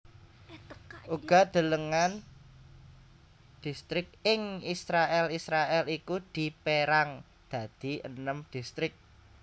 Uga delengen Distrik ing IsraèlIsraèl iku dipérang dadi enem distrik